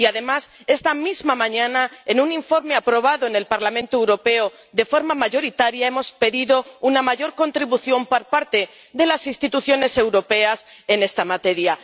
Y, además, esta misma mañana, en un informe aprobado en el Parlamento Europeo de forma mayoritaria, hemos pedido una mayor contribución por parte de las instituciones europeas en esta materia.